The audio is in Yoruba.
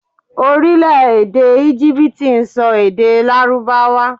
Orílèdè Égíbítì n so èdè lárúbáwá